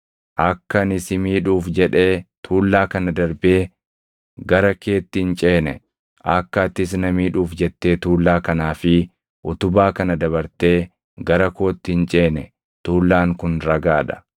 Akka ani si miidhuuf jedhee tuullaa kana darbee gara keetti hin ceene, akka atis na miidhuuf jettee tuullaa kanaa fi utubaa kana dabartee gara kootti hin ceene tuullaan kun ragaa dha; utubaan kunis ragaa dha.